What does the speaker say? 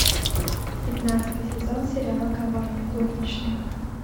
пятнадцатый сезон сериала коварные горничные